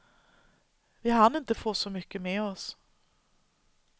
Vi hann inte få så mycket med oss.